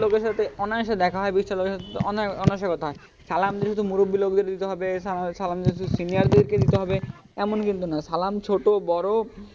বিশ টা লোকের সাথে অনায়াশে দেখা হয় বিশ টা লোকের সাথে অনায়াশে কথা হয় সালাম দিতে তো মুরুব্বি লোকদেরই দিতে হবে সালাম দিতে তো senior দেরকেই দিতে হবে এমন কিন্তু না সালাম ছোট বড়ো,